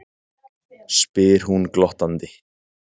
spyr hún glottandi.